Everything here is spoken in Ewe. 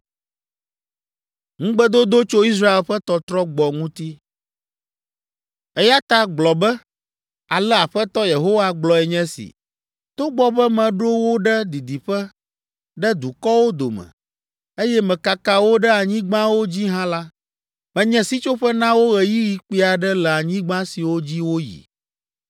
“Eya ta gblɔ be, ‘Ale Aƒetɔ Yehowa gblɔe nye si: togbɔ be meɖo wo ɖe didiƒe, ɖe dukɔwo dome, eye mekaka wo ɖe anyigbawo dzi hã la, menye sitsoƒe na wo ɣeyiɣi kpui aɖe le anyigba siwo dzi woyi.’